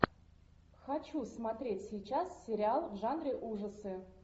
хочу смотреть сейчас сериал в жанре ужасы